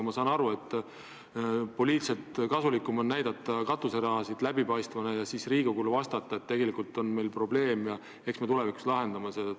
Ma saan aru, et poliitiliselt kasulikum on näidata katuseraha läbipaistvana ja siis Riigikogule vastata, et meil on probleem ja eks me tulevikus lahendame selle.